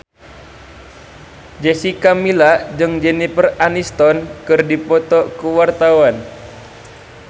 Jessica Milla jeung Jennifer Aniston keur dipoto ku wartawan